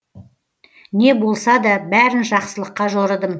не болса да бәрін жақсылыққа жорыдым